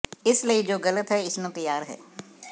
ਇਸ ਲਈ ਜੋ ਗਲਤ ਹੈ ਇਸ ਨੂੰ ਤਿਆਰ ਹੈ